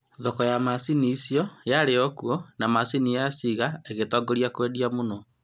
Thoko ya macini icio yarĩ okuo, na macini ya Singer ĩgĩtongoria kwendwo mũno